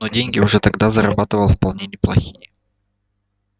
но деньги уже тогда зарабатывал вполне неплохие